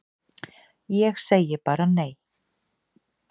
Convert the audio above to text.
Ég segi bara nei!